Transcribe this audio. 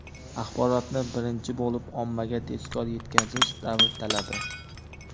axborotni birinchi bo‘lib ommaga tezkor yetkazish – davr talabi.